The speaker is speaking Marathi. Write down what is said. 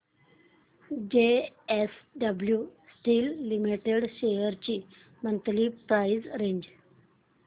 जेएसडब्ल्यु स्टील लिमिटेड शेअर्स ची मंथली प्राइस रेंज